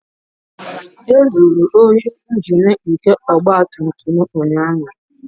. E zuru ohi Injin nke ọgba tum tum m ụnyaahụ